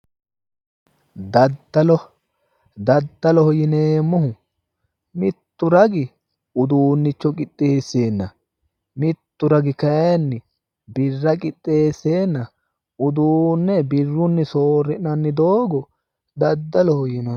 Daddalo daddaoho yineemmohu mittu ragi uduunnicho qixxeesseenna mittu ragi kayinni birra qixxeesseenna uduunne birrunni soorri'nanni doogo daddaloho yinanni